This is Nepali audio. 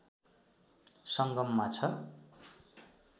संगममा छ